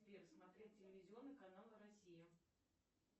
сбер смотреть телевизионный канал россия